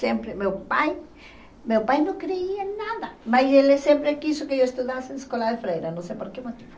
Sempre, meu pai, meu pai não creia em nada, mas ele sempre quis que eu estudasse na escola de freira, não sei por que motivo.